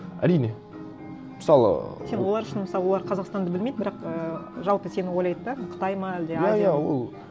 әрине мысалы сен олар үшін мысалы олар қазақстанды білмейді бірақ ііі жалпы сені ойлайды да қытай ма әлде азия ма иә иә ол